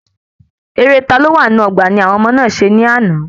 Eré "ta ló wà nínú ọgbà"ni àwọn ọmọ náà se ni àná